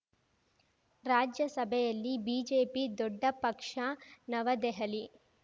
ರಾಜ್ಯಸಭೆಯಲ್ಲಿ ಬಿಜೆಪಿ ದೊಡ್ಡ ಪಕ್ಷ ನವದೆಹಲಿ